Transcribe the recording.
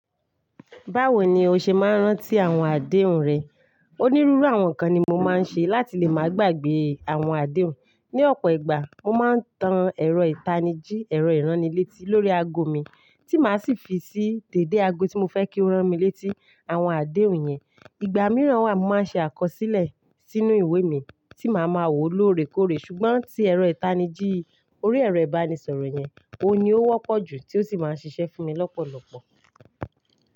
Báwo ni o ṣe máa ń rántí àwọn àdéhùn rẹ? Onírúurú àwọn nkan ni mo máa ń ṣe láti lè máa gbàgbé àwọn àdéhùn. Ni ọ̀pọ̀ ìgbà, mo máa ń tan ẹ̀rọ ìtanijí, ẹ̀rọ ìránnilétí lórí ago mi, tí màá sì fi sí dèdè ago tí mo fẹ́ kí ó rán mi létí àwọn àdéhùn yẹn. Ìgbà mìíràn wà, mo máa ṣe àkọsílẹ̀ sínú ìwé mi tí màá máa wò lóorekóore. Ṣùgbọ́n tí ẹ̀rọ ìtanijí orí ẹ̀rọ ìbánisọ̀rọ̀ yẹn, òun ni ó wọ́pọ̀ jù tí ó sì máa ń ṣiṣẹ́ fún mi lọ́pọ̀lọpọ̀.